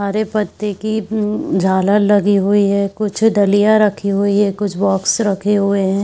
हरे पत्ते की उ झालर लगी हुई है कुछ डलिया रखी हुई है कुछ बॉक्स रखे हुए है।